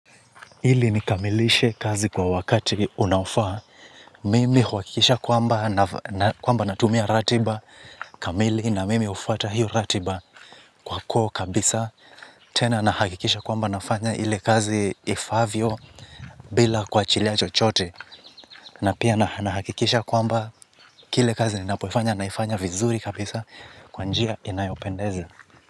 Ili nikamilishe kazi kwa wakati unaofaa, mimi huhakikisha kwamba kwamba natumia ratiba, kamili na mimi hufuata hiyo ratiba kwa koo kabisa, tena nahakikisha kwamba nafanya ile kazi ifaavyo bila kuachilia chochote, na pia nahakikisha kwamba kila kazi ninapoifanya naifanya vizuri kabisa kwa njia inayopendeza.